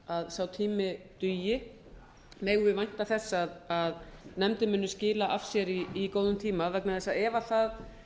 að sá tími dugi megum við vænta þess að nefndin muni skila af sér í góðum tíma vegna þess að ef það